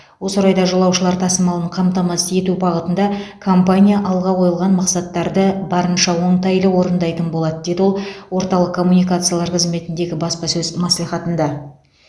осы орайда жолаушылар тасымалын қамтамасыз ету бағытында компания алға қойылған мақсаттарды барынша оңтайлы орындайтын болады деді ол орталық коммуникациялар қызметіндегі баспасөз мәслихатында